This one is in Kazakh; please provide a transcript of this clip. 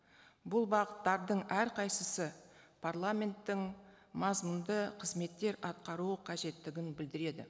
бұл бағыттардың әрқайсысы парламенттің мазмұнды қызметтер атқаруы қажеттігін білдіреді